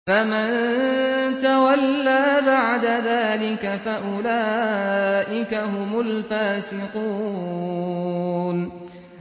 فَمَن تَوَلَّىٰ بَعْدَ ذَٰلِكَ فَأُولَٰئِكَ هُمُ الْفَاسِقُونَ